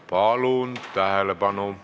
Palun tähelepanu!